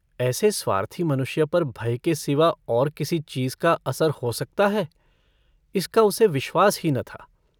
ऐसे स्वार्थी मनुष्य पर भय के सिवा और किसी चीज का असर हो सकता है इसका उसे विश्वास ही न था।